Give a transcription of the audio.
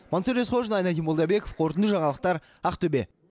мансұр есқожин айнадин молдабеков қорытынды жаңалықтар ақтөбе